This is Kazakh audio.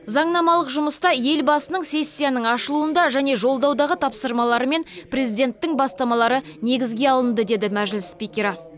заңнамалық жұмыста елбасының сессияның ашылуында және жолдаудағы тапсырмалары мен президенттің бастамалары негізге алынды деді мәжіліс спикері